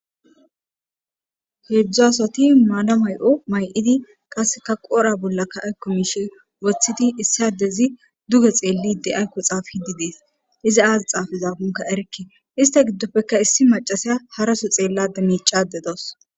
Hedzdzu asati mala .ayo mayid qodha bollaka aykk mishe wothid qaseka issi adezi duge xelide aako xelide des, izi xapizakonka erike ista gidoppe issi macasiya haraso xelasa micada dawusi